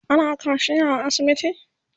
ana kaciya a asibitin?